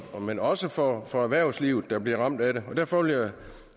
men også for for erhvervslivet der bliver ramt af det derfor vil